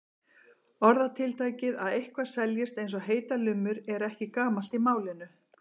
Orðatiltækið að eitthvað seljist eins og heitar lummur er ekki gamalt í málinu.